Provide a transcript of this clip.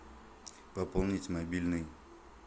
пополнить мобильный